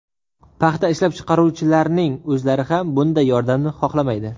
Paxta ishlab chiqaruvchilarning o‘zlari ham bunday yordamni xohlamaydi.